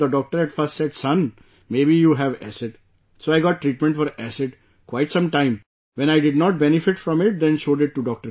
The doctor at first said "Son, maybe you have acid"... so I got treatment for acid quite some time, when I did not benefit from it, then showed it to Dr